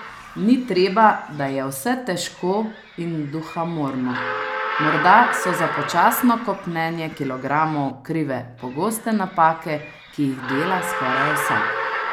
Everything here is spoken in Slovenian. Ni treba, da je vse težko in duhamorno, morda so za počasno kopnenje kilogramov krive pogoste napake, ki jih dela skoraj vsak.